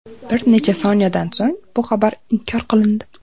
Bir necha soniyadan so‘ng bu xabar inkor qilindi.